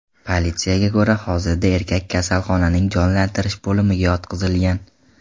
Politsiyaga ko‘ra, hozirda erkak kasalxonaning jonlantirish bo‘limiga yotqizilgan.